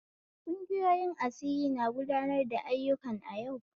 Kungiyoyin asiri na gudanar da ayyukan a yau.